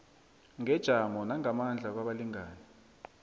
ngejamo nangamandla kwabalingani